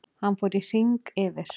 Hann fór í hring yfir